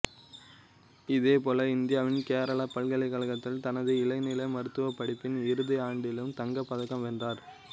இதேபோல இந்தியாவின் கேரளா பல்கலைக்கழகத்தில் தனது இளநிலை மருத்துவப் படிப்பின் இறுதி ஆண்டிலும் தங்கப் பதக்கம் வென்றார்